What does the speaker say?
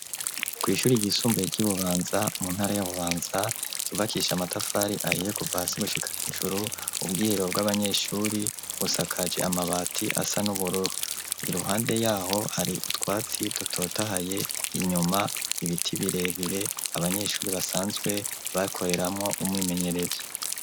Kw'ishuri ryisumbuye ry'i Bubanza mu ntara ya Bubanza ryubakisha amatafari ahiye kuva hasi gushika hejuru, ubwiherero bw'abanyeshuri busakaje amabati asa n'ubururu, iruhande yaho hari utwatsi dutotahaye, inyuma ibiti birebire abanyeshuri basanzwe bakoreramwo umwimenyerezo.